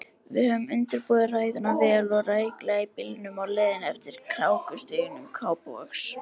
Við höfðum undirbúið ræðuna vel og rækilega í bílnum á leiðinni eftir krákustígum Kópavogs.